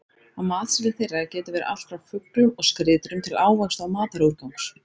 Á matseðli þeirra getur verið allt frá fuglum og skriðdýrum til ávaxta og matarúrgangs.